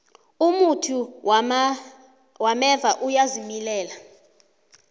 umuthi wameva uyazimilela